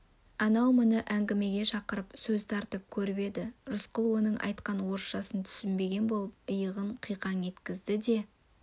анау мұны әңгімеге шақырып сөз тартып көріп еді рысқұл оның айтқан орысшасын түсінбеген болып иығын қиқаң еткізді де